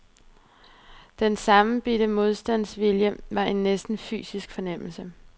Den sammenbidte modstandsvilje var en næsten fysisk fornemmelse.